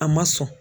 A ma sɔn